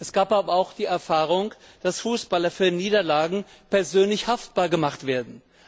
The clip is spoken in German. Es gab aber auch die Erfahrung, dass Fußballer für Niederlagen persönlich haftbar gemacht werden.